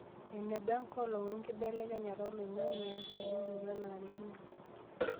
Eneba enkolong' wenkibelekenyat oloing'ang'e enkitubulunoto nanarikino.